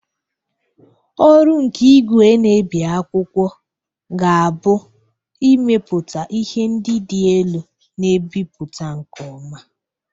Ọrụ nke igwe na-ebi akwụkwọ ga-abụ ịmepụta ihe ndị dị elu na-ebipụta nke ọma.